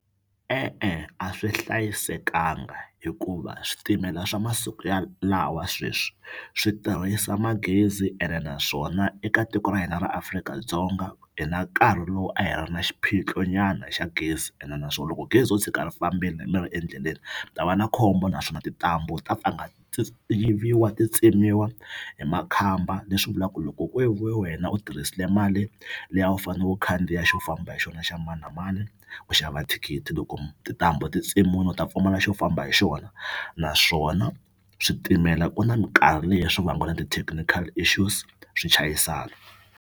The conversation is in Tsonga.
E-e a swi hlayisekanga hikuva switimela swa masiku ya lawa sweswi swi tirhisa magezi ene naswona eka tiko ra hina ra Afrika-Dzonga hi na nkarhi lowu a hi ri na xiphiqo nyana xa gezi ene naswona loko gezi ro tshika ri fambini mi ri endleleni mi ta va na khombo naswona tintambu ta ti yiviwa ti tsemiwa hi makhamba leswi vulaku loko ve wena u tirhisile mali leyi a wu fane u khandziya xo famba hi xona xa mani na mani ku xava thikithi loko tintambu ti tsemiwini u ta pfumala xo famba hi xona naswona switimela ku na minkarhi leyi swi na ti-technical issues swi chayisana.